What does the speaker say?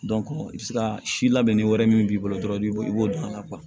i bɛ se ka si labɛnni wɛrɛ min b'i bolo dɔrɔn i b'o don a la